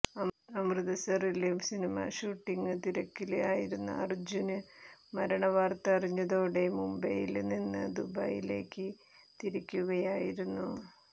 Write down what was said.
അമൃതസറില് cinema shooting തിരക്കില് ആയിരുന്ന അര്ജ്ജുന് മരണ വാര്ത്ത അറിഞ്ഞതോടെ മുംബൈയില് നിന്ന് ദുബൈയിലേക്ക് തിരിക്കുകയായിരുന്നു